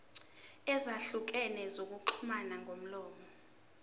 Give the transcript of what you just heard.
ezahlukene zokuxhumana ngomlomo